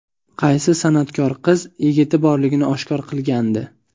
Qaysi san’atkor qiz yigiti borligini oshkor qilgandi?